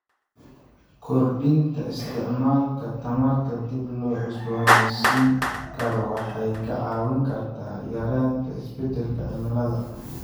Kordhinta isticmaalka tamarta dib loo cusboonaysiin karo waxay ka caawin kartaa yareynta isbeddelka cimilada.